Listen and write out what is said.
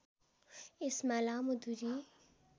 यसमा लामो दुरी